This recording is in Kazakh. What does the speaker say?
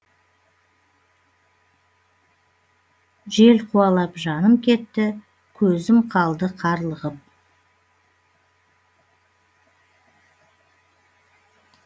жел қуалап жаным кетті көзім қалды қарлығып